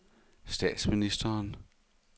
statsministeren